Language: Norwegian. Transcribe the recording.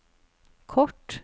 kort